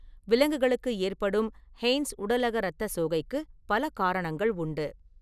விலங்குகளுக்கு ஏற்படும் ஹெய்ன்ஸ் உடலக இரத்தச் சோகைக்கு பல காரணங்கள் உண்டு.